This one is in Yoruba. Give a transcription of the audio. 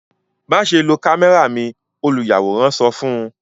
Maṣe lo kamẹra mi! oluyaworan sọ fun u